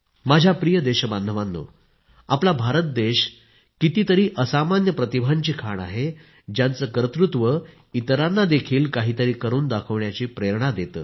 माझ्या प्रिय देशबांधवांनो आपला भारत देश कितीतरी असामान्य प्रतिभांची खाण आहे ज्यांचे कर्तृत्व इतरांना देखील काही तरी करून दाखविण्याची प्रेरणा देते